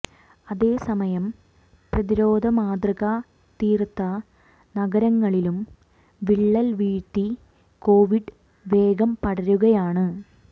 അതേസമയം പ്രതിരോധ മാതൃക തീർത്ത നഗരങ്ങളിലും വിള്ളൽ വീഴ്ത്തി കോവിഡ് വേഗം പടരുകയാണ്